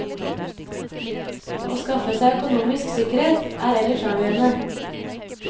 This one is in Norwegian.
Å skaffe seg økonomisk sikkerhet er ellers avgjørende.